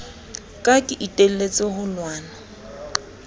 ka ke iteletse ho lwana